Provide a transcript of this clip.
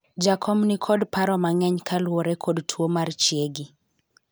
jakom nikod paro mang'eny kaluwore kod tuo mar chiegi